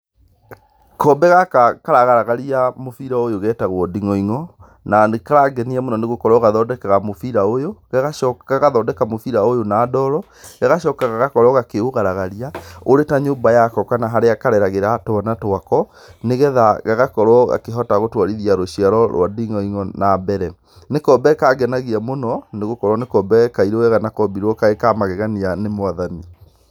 Kombe gaka karagaragaria mũbira ũyũ getagwo nding'oing'o, na nĩ karangenia mũno nĩ gũkorwo gathondekaga mũbira ũyũ, gagacoka, gagathondeka mũbira ũyũ na ndoro gagacoka gagakorwo gakĩũgaragaria ũrĩ ta nyũmba yako kana harĩa kareragĩra twana twako, nĩgetha gagakorwo gakĩhota gũtwarithia rũciaro rwa nding'oing'o na mbere. Nĩ kombe kangenagia mũno, nĩ gũkorwo nĩ kombe kairũ wega na kombirwo karĩ ka magegania nĩ mwathani.